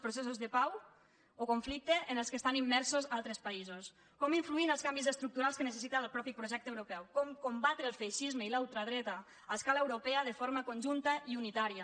processos de pau o conflictes en què estan immersos altres països com influir en els canvis estructurals que necessita el mateix projecte europeu com combatre el feixisme i la ultradreta a escala europea de forma conjunta i unitària